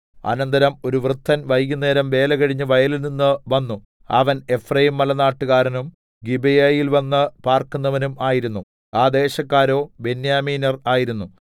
അനന്തരം ഒരു വൃദ്ധൻ വൈകുന്നേരം വേലകഴിഞ്ഞ് വയലിൽനിന്ന് വന്നു അവൻ എഫ്രയീംമലനാട്ടുകാരനും ഗിബെയയിൽ വന്ന് പാർക്കുന്നവനും ആയിരുന്നു ആ ദേശക്കാരോ ബെന്യാമീന്യർ ആയിരുന്നു